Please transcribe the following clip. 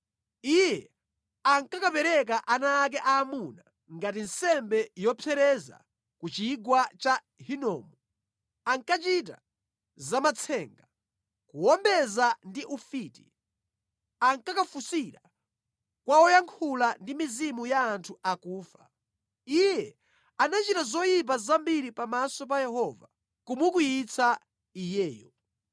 Iye ankakapereka ana ake aamuna ngati nsembe yopsereza ku chigwa cha Hinomu, ankachita zamatsenga, kuwombeza ndi ufiti, ankakafunsira kwa woyankhula ndi mizimu ya anthu akufa. Iye anachita zoyipa zambiri pamaso pa Yehova, kumukwiyitsa Iyeyo.